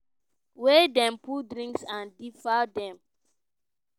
wey dem put drugs and diafor dem